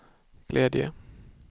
glädje